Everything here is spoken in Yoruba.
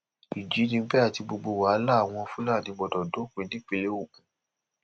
ìjínigbé àti gbogbo wàhálà àwọn fúlàní gbọdọ dópin nípìnlẹ ogun